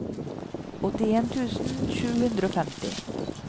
åttien tusen sju hundre og femti